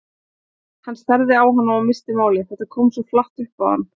Hann starði á hana og missti málið, þetta kom svo flatt upp á hann.